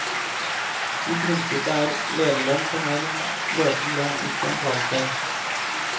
I prinsippet er lederlønn for meg den løpende lønn, ikke en fallskjerm.